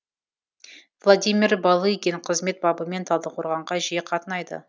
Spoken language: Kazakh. владимир балыгин қызмет бабымен талдықорғанға жиі қатынайды